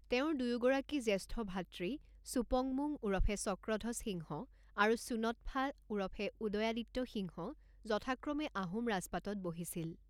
তেওঁৰ দুয়োগৰাকী জ্যেষ্ঠ ভ্ৰাতৃ চুপংমুং ওৰফে চক্ৰধ্বজ সিংহ আৰু চুন্যৎফা ওৰফে উদয়াদিত্য সিংহ যথাক্ৰমে আহোম ৰাজপাটত বহিছিল।